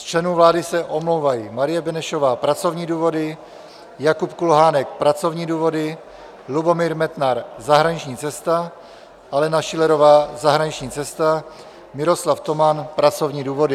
Z členů vlády se omlouvají: Marie Benešová - pracovní důvody, Jakub Kulhánek - pracovní důvody, Lubomír Metnar - zahraniční cesta, Alena Schillerová - zahraniční cesta, Miroslav Toman - pracovní důvody.